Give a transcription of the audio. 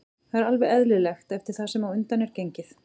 Það er alveg eðlilegt eftir það sem á undan er gengið.